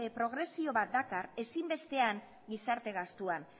progresio bat dakar ezinbestean gizarte gastuan